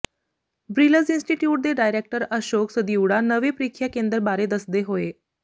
ਬਰਿਲਜ਼ institute ਦੇ director Ashok Sadiora ਨਵੇਂ ਪ੍ਰੀਖਿਆ ਕੇਂਦਰ ਬਾਰੇ ਦੱਸਦੇ ਹੋਏ